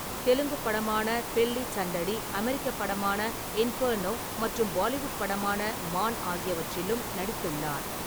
தெலுங்குப் படமான பெல்லி சண்டடி, அமெரிக்கப் படமான இன்ஃபெர்னோ மற்றும் பாலிவுட் படமான மான் ஆகியவற்றிலும் நடித்துள்ளார்.